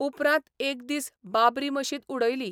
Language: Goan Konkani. उपरांत एक दीस बाबरी मशीद उडयली.